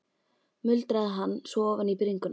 muldraði hann svo ofan í bringuna.